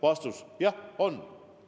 Vastus: jah on.